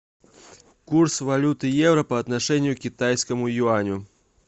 курс валюты евро по отношению к китайскому юаню